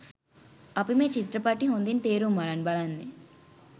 අපි මේ චිත්‍රපටි හොදින් තේරුම් අරන් බලන්නේ.